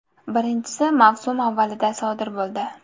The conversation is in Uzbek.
Birinchisi mavsum avvalida sodir bo‘ldi.